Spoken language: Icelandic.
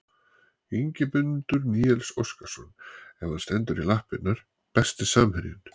Ingimundur Níels Óskarsson ef hann stendur í lappirnar Besti samherjinn?